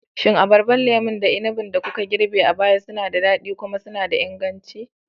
Shin Abarbar, lemukan, da inabin da kuka girbe a baya suna da daɗi kuma suna da inganci?